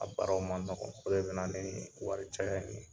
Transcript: A baaraw ma nɔgɔn, o de bɛna nii wari caya ye.